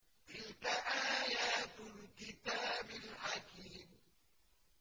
تِلْكَ آيَاتُ الْكِتَابِ الْحَكِيمِ